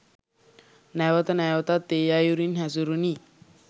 නැවත නැවතත් ඒ අයුරින් හැසුරුනි